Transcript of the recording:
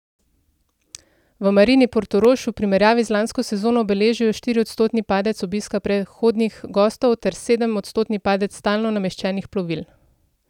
V Marini Portorož v primerjavi z lansko sezono beležijo štiriodstotni padec obiska prehodnih gostov ter sedemodstotni padec stalno nameščenih plovil.